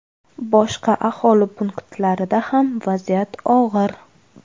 Boshqa aholi punktlarida ham vaziyat og‘ir.